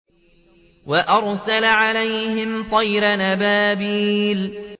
وَأَرْسَلَ عَلَيْهِمْ طَيْرًا أَبَابِيلَ